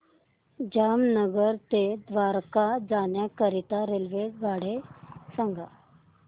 जामनगर ते द्वारका जाण्याकरीता रेल्वेगाडी सांग